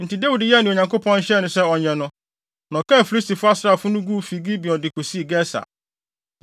Enti Dawid yɛɛ nea Onyankopɔn hyɛɛ no sɛ ɔnyɛ no, na ɔkaa Filistifo asraafo no guu fi Gibeon de kosii Geser.